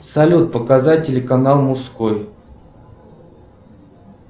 салют показать телеканал мужской